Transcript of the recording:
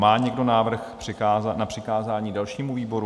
Má někdo návrh na přikázání dalšímu výboru?